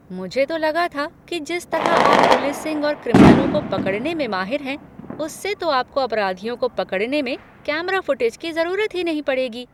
मुझे तो लगा था कि जिस तरह आप पुलिसिंग और क्रिमिनलों को पकड़ने में माहिर हैं, उससे तो आपको अपराधियों को पकड़ने में कैमरा फ़ुटेज की ज़रूरत ही नहीं पडे़गी।